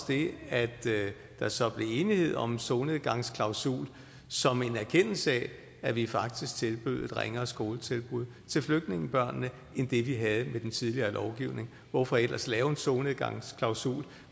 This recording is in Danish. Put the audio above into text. det at der så blev enighed om en solnedgangsklausul som en erkendelse af at vi faktisk tilbød et ringere skoletilbud til flygtningebørnene end det vi havde med den tidligere lovgivning hvorfor ellers lave en solnedgangsklausul